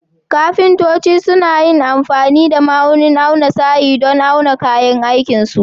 Ƙafintoci suna yin amfani da ma'aunin auna sayi don awon kayan aikin su.